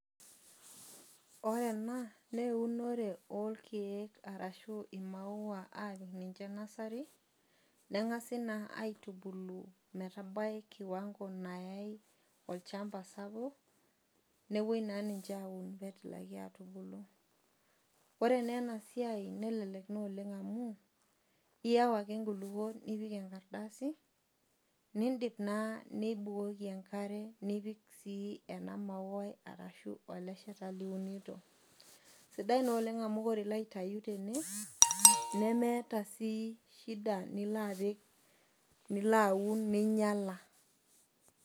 Ore enna naa eunore orkiek arashu imaua apik ninche nursery , nengasi naa aitubulu metabau kiwango nayae olchamba sapuk nepuoi naa ninche aun petumoki atubulu. Ore nee enasiai nelelek naa amu iyau ake nkulupuok nipik enakrdasi , nindip naa nibukoki enkare , nipik sii ena mauai ashu eleshata liunito , sidai naa amu ore ilo aitayu tene nemeeta sii shida nilo apik , nilo aun ninyiala.